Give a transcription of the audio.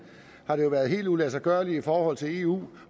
har det jo været helt uladsiggørligt i forhold til eu